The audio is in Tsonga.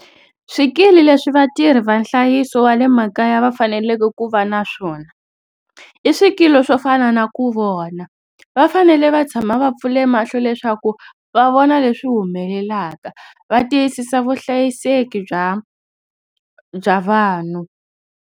Swikili leswi vatirhi va nhlayiso wa le makaya va faneleke ku va na swona i swikili swo fana na ku vona. Va fanele va tshama va pfule mahlo leswaku va vona leswi humelelaka. Va tiyisisa vuhlayiseki bya bya vanhu.